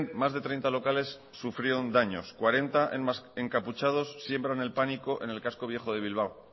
más de treinta locales sufrieron daños cuarenta encapuchado siembran el pánico en el casco viejo de bilbao